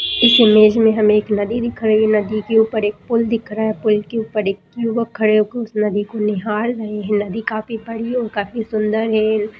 इस इमेज में हमें एक नदी दिख रही है नदी के ऊपर एक पुल दिख रहा है पुल के ऊपर एक युवक खड़े होके उस नदी को निहार रहे है नदी काफी बड़ी और काफी सुन्दर है।